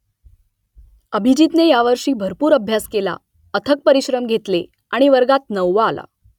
अभिजीतने यावर्षी भरपूर अभ्यास केला अथक परिश्रम घेतले आणि वर्गात नववा आला